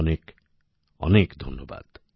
অনেক অনেক ধন্যবাদ